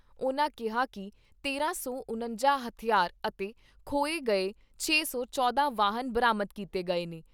ਉਨ੍ਹਾਂ ਕਿਹਾ ਕਿ ਤੇਰਾਂ ਸੌ ਉਣੱਜਾ ਹਥਿਆਰ ਅਤੇ ਖੋਹੇ ਗਏ ਚੇ ਸੌ ਚੌਂਦਾ ਵਾਹਨ ਬਰਾਮਦ ਕੀਤੇ ਗਏ ਨੇ।